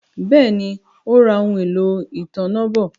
Béèni, Ó ra ohun-èlò ìtanná bọ̀